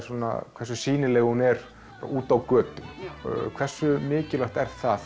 hversu sýnileg hún er úti á götu hversu mikilvægt er það